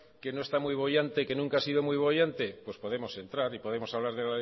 que no está muy boyante que nunca ha sido muy boyante pues podemos entrar y podemos hablar